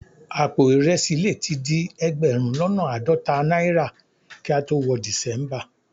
Àpò ìrẹsì le tí di ẹgbẹ̀rún lọ́nà àádọ́ta náírà kí a tó wọ December